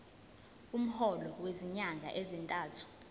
umholo wezinyanga ezintathu